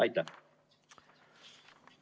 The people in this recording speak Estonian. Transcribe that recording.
Aitäh!